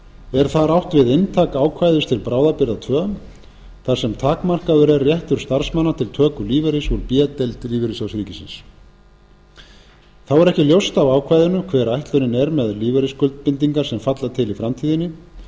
er þar átt við inntak ákvæðis til bráðabirgða tvö þar sem takmarkaður er réttur starfsmanna til töku lífeyris úr b deild l s r þá er ekki ljóst af ákvæðinu hver ætlunin er með lífeyrisskuldbindingar sem falla til í framtíðinni